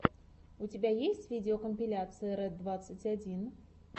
у тебя есть видеокомпиляция ред двадцать один